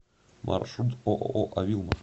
маршрут ооо авилма